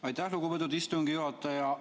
Aitäh, lugupeetud istungi juhataja!